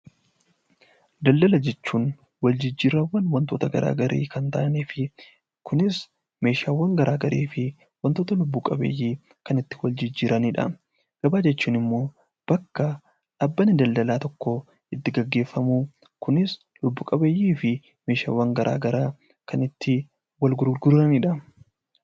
Daldala jechuun waljijjiirraawwan wantoota garaa garii kan ta'anii fi kunis meeshaawwan garaa garii fi wantoota lubbu qabeeyyii kan itti wal jijjiiranidha. Gabaa jechuun ammoo bakka dhaabbanni daldalaa tokko itti gaggeeffamu kunis lubbu qabeeyyii fi meeshaawwan gara garaa kan itti wal gurguranidha.